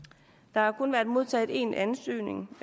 der er kun modtaget én ansøgning